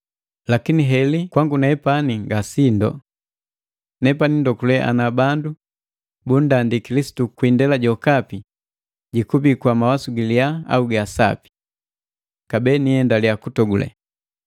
Lakini heli kwangu nepani ngasindu! Nepani ndogule ana bandu bundandi Kilisitu kwii indela jokapi, jikubii kwa mawasu giliya au ga asapi. Kabee niiendaliya kutogule.